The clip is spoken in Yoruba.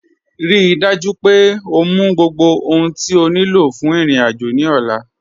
Ríí dájú pé ọ mú gbogbo ohun tí o ní lọ fún irin-ájò ní ọ̀là